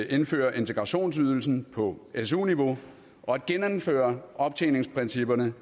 at indføre integrationsydelsen på su niveau og at genindføre optjeningsprincipperne